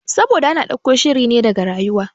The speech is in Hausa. Saboda ana ɗauko shirine daga rayuwa